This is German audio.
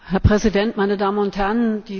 Herr Präsident, meine Damen und Herren!